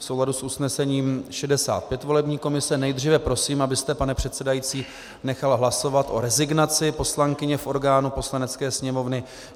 V souladu s usnesením 65 volební komise nejdříve prosím, abyste, pane předsedající, nechal hlasovat o rezignaci poslankyně v orgánu Poslanecké sněmovny.